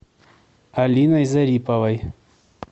алиной зариповой